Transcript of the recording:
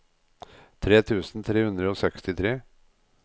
tre tusen tre hundre og sekstitre